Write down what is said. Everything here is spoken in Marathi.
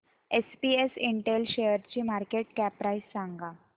एसपीएस इंटेल शेअरची मार्केट कॅप प्राइस सांगा